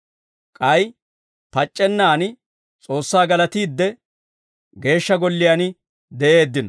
K'ay pac'c'ennan S'oossaa galatiidde, Geeshsha Golliyaan de'eeddino.